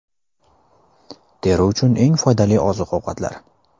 Teri uchun eng foydali oziq-ovqatlar.